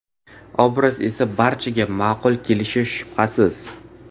Obraz esa barchaga ma’qul kelishi shubhasiz.